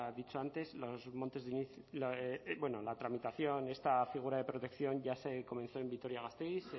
dicho antes los montes de bueno la tramitación de esta figura de protección ya se comenzó en vitoria gasteiz